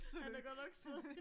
Han er godt nok sød